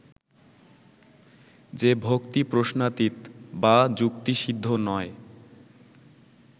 যে-ভক্তি প্রশ্নাতীত বা যুক্তিসিদ্ধ নয়